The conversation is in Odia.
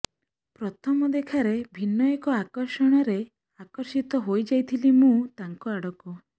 ପ୍ରଥମ ଦେଖାରେ ଭିନ୍ନ ଏକ ଆକର୍ଷଣରେ ଆକର୍ଷିତ ହୋଇଯାଇଥିଲି ମୁଁ ତାଙ୍କ ଆଡ଼କୁ